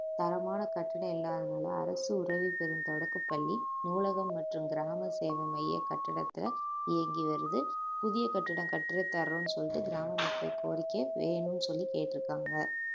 தரமான கற்சிலை இல்லாதனால அரசு உதவி பெரும் தொடக்கப்பள்ளி நூலகம் மற்றும் கிராம சேவை மைய கட்டிடத்துல இயங்கி வருது புதிய கட்டிடம் கட்டுரை தர்றோம்ன்னு சொல்லிட்டு கிராம மக்கள் கோரிக்கையை வேணும்னு சொல்லி கேட்டுருக்காங்க